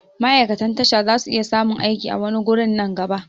Ma'aikatan tasha zasu iya samun aiki a wani wurin nan gaba